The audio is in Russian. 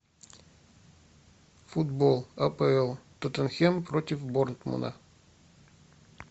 футбол апл тоттенхем против борнмута